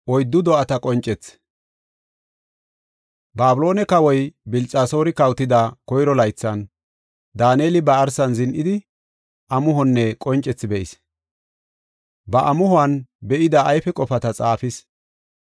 Babiloone kawoy Bilxasoori kawotida koyro laythan, Daaneli ba arsan zin7idi, amuhonne qoncethi be7is. Ba amuhuwan be7ida ayfe qofata xaafis.